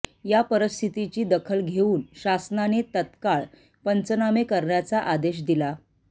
या परिस्थितीची दखल घेऊन शासनाने तत्काळ पंचनामे करण्याचा आदेश दिला